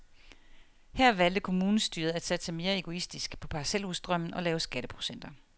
Her valgte kommunestyret at satse mere egoistisk, på parcelhusdrømmen og lave skatteprocenter.